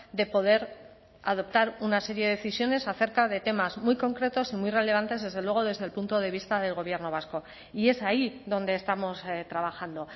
de poder adoptar una serie de decisiones acerca de temas muy concretos y muy relevantes desde luego desde el punto de vista del gobierno vasco y es ahí donde estamos trabajando